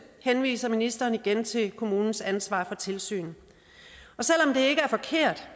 henviser ministeren igen til kommunens ansvar for tilsyn og selv om det ikke er forkert